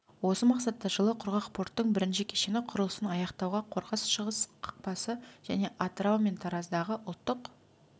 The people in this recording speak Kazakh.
осы мақсатта жылы құрғақ порттың бірінші кешені құрылысын аяқтауға қорғас-шығыс қақпасы және атырау мен тараздағы ұлттық